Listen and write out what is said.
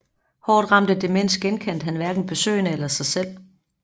Hårdt ramt af demens genkendte han hverken besøgende eller sig selv